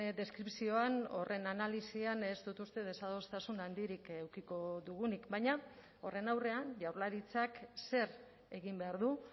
deskripzioan horren analisian ez dut uste desadostasun handirik edukiko dugunik baina horren aurrean jaurlaritzak zer egin behar du